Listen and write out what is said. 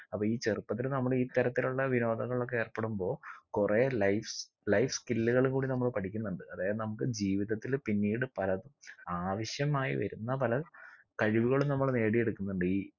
അപ്പൊ ഈ ചെറുപ്പത്തില് നമ്മള് ഇത്തരത്തിലുള്ള വിനോദങ്ങളിലൊക്കെ ഏർപ്പെടുമ്പോ കൊറേ life life skill കള് കൂടി നമ്മൾ പഠിക്കുന്നുണ്ട് അതായത് നമുക്ക് ജീവിതത്തില് പിന്നീട് പല ആവശ്യമായി വരുന്ന പല കഴിവുകളും നമ്മള് നേടിയെടുക്കുന്നുണ്ട് ഈ